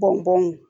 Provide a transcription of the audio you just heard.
Bɔn